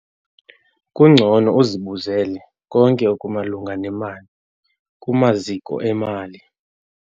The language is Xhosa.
Kubhetele uzibuzele konke okumalunga nemali kumaziko emali.